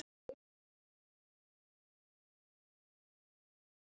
Lungnaþemba er sjúkdómur sem lýsir sér með mæði og hósta.